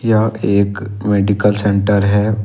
यह एक medical centre है।